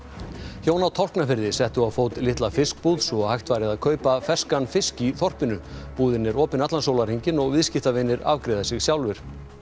hjón á Tálknafirði settu á fót litla fiskbúð svo hægt væri að kaupa ferskan fisk í þorpinu búðin er opin allan sólarhringinn og viðskiptavinir afgreiða sig sjálfir